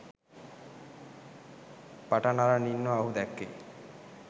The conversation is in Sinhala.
පටන් අරන් ඉන්නව ඔහු දැක්කෙ.